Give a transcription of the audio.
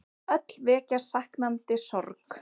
Öll vekja saknandi sorg.